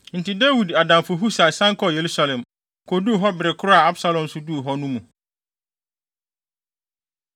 Enti Dawid adamfo Husai san kɔɔ Yerusalem, koduu hɔ bere koro a Absalom nso duu hɔ no mu.